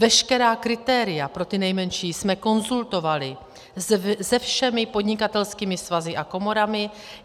Veškerá kritéria pro ty nejmenší jsme konzultovali se všemi podnikatelskými svazy a komorami.